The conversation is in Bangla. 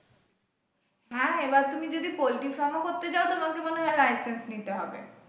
হ্যাঁ এবার তুমি যদি poultry farm ও করতে চাও তোমাকে মনে হয় licence নিতে হবে।